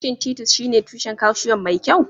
Shin Titus shine tushen calcium mai kyau?